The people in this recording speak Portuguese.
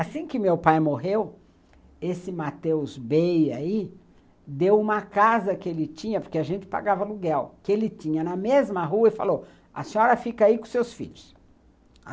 Assim que meu pai morreu, esse Matheus Bey aí deu uma casa que ele tinha, porque a gente pagava aluguel, que ele tinha na mesma rua e falou, a senhora fica aí com seus filhos.